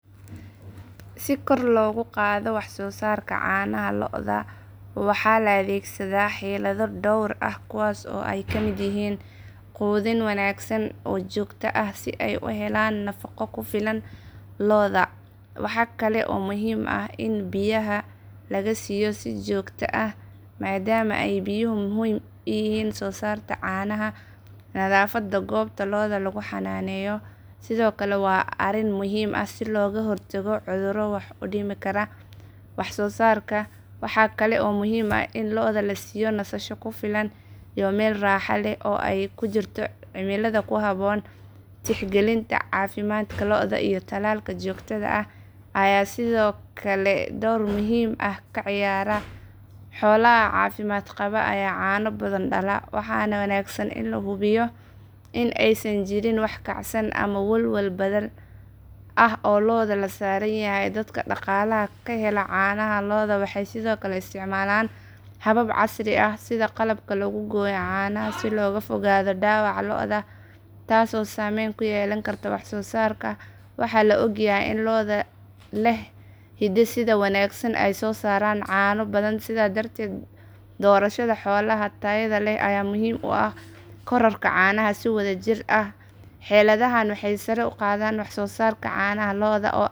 Si kor logu qadho wax sosarka canaha lodha waxaa la adhegsaada xilada dor ah kuwas oo ee kamiid yihin qudhin wanagsan oo jogto ah si ee u helan nafaqo kufilan, nadhafaada gobta loda lagu xananeyo sithokale waa arin muhiim ah sithokale waa meel lodha kufilan In ee kunasato meel raxa leh, waxana wanagsan in lahubiyo waxee sithokale isticmalan habab kufilan, cano badan, waxee muhiim utahay korarka canaha si wadha jir ah xeladaha waxee kor uqadhan wax sosarka.